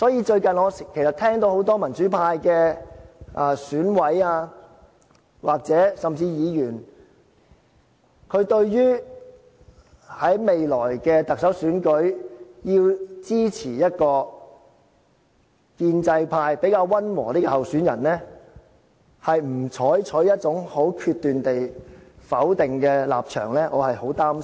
最近我聽到很多民主派選委，甚至議員，對於在未來特首選舉中要支持一個建制派比較溫和的候選人，沒有採取一種很決斷的否定立場，我是很擔心。